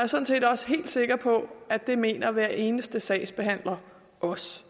er sådan set også helt sikker på at det mener hver eneste sagsbehandler også